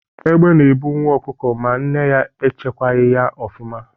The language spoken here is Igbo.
Egbe na-ebu nwa ọkụkọ ma nne ya echekwaghị ya ọfụma.